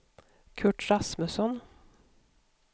Kurt Rasmusson